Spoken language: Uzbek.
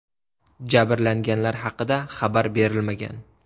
Jabrlanganlar haqida xabar berilmagan.